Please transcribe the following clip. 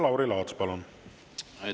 Lauri Laats, palun!